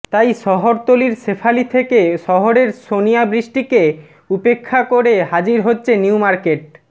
তাই শহরতলীর শেফালি থেকে শহরের সনিয়া বৃষ্টিকে উপেক্ষা করে হাজির হচ্ছে নিউমার্কেট